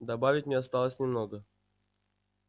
добавить мне осталось немного